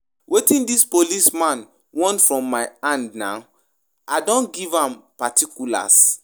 Wetin dis police man want from my hand na, I don give am particulars.